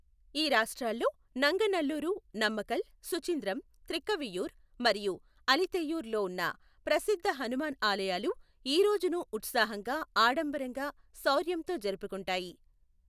ఈ రాష్ట్రాల్లో, నంగనల్లూరు, నమక్కల్, సుచింద్రం, త్రిక్కవియూర్, మరియు అలతియూర్ లోఉన్న ప్రసిద్ధ హనుమాన్ ఆలయాలు ఈ రోజును ఉత్సాహంగా, ఆడంబరంగా, శౌర్యంతో జరుపుకుంటాయి.